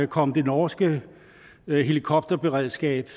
kom det norske helikopterberedskab